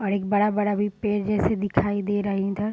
और एक बड़ा-बड़ा भी पेड़ जैसे दिखाई दे रहे हैं इधर |